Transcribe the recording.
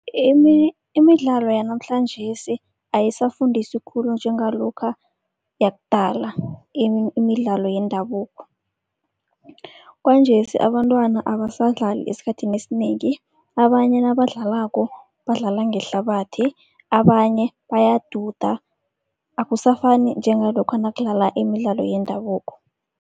Imidlalo yanamhlanjesi ayisafundisi khulu njengalokha yakudala imidlalo yendabuko. Kwanjesi abantwana abasadlali esikhathini esinengi, abanye nabadlalako badlala ngehlabathi. Abanye bayaduda akusafani njengalokha nakudlala imidlalo yendabuko.